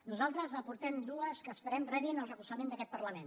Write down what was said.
nosaltres n’aportem dues que esperem que rebin el recolzament d’aquest parlament